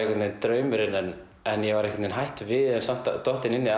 draumurinn en en ég var einhvern veginn hættur við en samt dottinn inn í